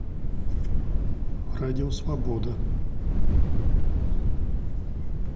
радио свобода